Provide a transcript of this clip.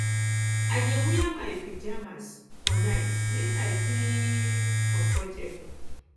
i dey wear my pajamas my pajamas for night make i feel um comfortable